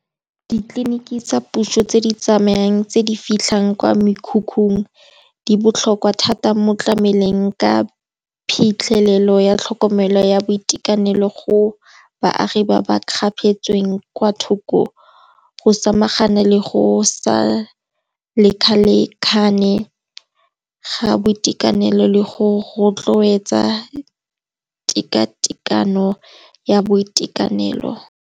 Ditleliniki tsa puso tse di tsamayang tse di fitlhang kwa mekhukhung, di botlhokwa thata mo tlameleng ka phitlhelelo ya tlhokomelo ya boitekanelo go baagi ba ba kgapetsweng kwa thoko, go samagana le go sa lekalekane ga boitekanelo le go rotloetsa tekatekano ya boitekanelo.